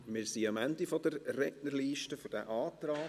Wir sind für diesen Antrag am Ende der Rednerliste angelangt.